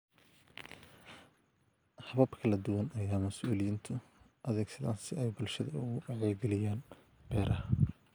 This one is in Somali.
Habab kala duwan ayaa mas'uuliyiintu adeegsadaan si ay bulshada uga wacyigeliyaan beeraha.